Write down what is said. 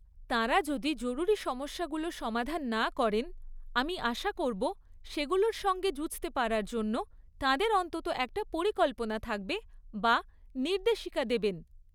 তাঁরা যদি জরুরী সমস্যাগুলো সমাধান না করেন, আমি আশা করব সেগুলোর সঙ্গে যুঝতে পারার জন্য তাঁদের অন্তত একটা পরিকল্পনা থাকবে, বা নির্দেশিকা দেবেন।